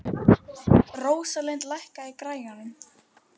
Rósalind, lækkaðu í græjunum.